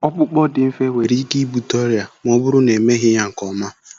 Ọkpụkpọ dị mfe nwere ike ibute ọrịa ma ọ bụrụ na emeghị ya nke ọma.